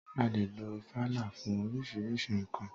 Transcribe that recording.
A lè lo ifala fún oríṣiríṣi nńkan.